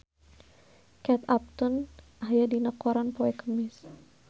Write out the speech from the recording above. Kate Upton aya dina koran poe Kemis